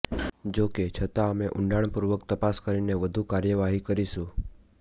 જોકે છતાં અમે ઊંડાણપૂર્વક તપાસ કરીને વધુ કાર્યવાહી કરીશું